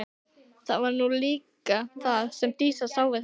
Það var nú líka það sem Dísa sá við hann.